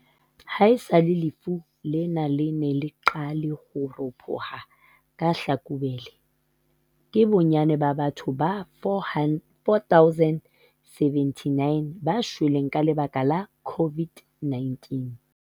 Haesale lefu lena le ne le qale ho ropoha ka Tlhakubele, ke bonnyane ba batho ba 4 079 ba shweleng ka lebaka la COVID-19.